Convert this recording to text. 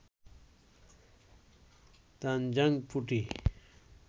তানজাং পুটি